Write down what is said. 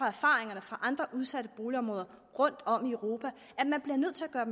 erfaringer fra andre udsatte boligområder rundtom i europa at man bliver nødt til at gøre